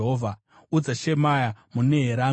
Udza Shemaya muNeherami kuti,